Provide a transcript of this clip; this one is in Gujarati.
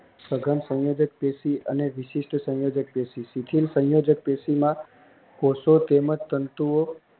સઘન સંયોજક અને વિશિષ્ઠ સંયોજક સુચિલ સંયોજક પેશીમાં કોષો તેમજ તંતુઓ ઓ